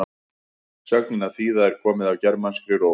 sögnin að þýða er komin af germanskri rót